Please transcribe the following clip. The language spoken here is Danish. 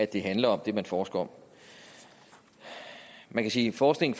det handler om det man forsker om man kan sige at forskningen